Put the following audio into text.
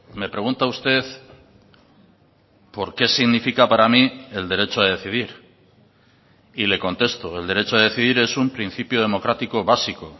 me pregunta usted por qué significa para mí el derecho a decidir y le contesto el derecho a decidir es un principio democrático básico